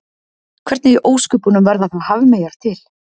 Hvernig í ósköpunum verða þá hafmeyjar til?